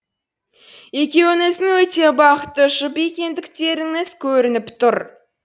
екеуіңіздің өте бақытты жұп екендіктеріңіз көрініп тұр